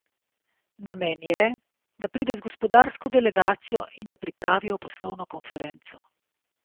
Namen je, da pride z gospodarsko delegacijo in da pripravijo poslovno konferenco.